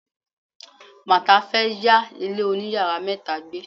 Martha fe ya ile oniyaara meta gbe.